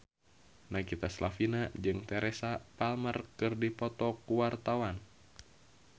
Nagita Slavina jeung Teresa Palmer keur dipoto ku wartawan